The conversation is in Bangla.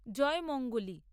জয়মঙ্গলী